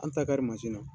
An ta ka di na